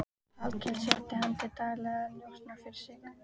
Hallkel setti hann til daglegra njósna fyrir sig.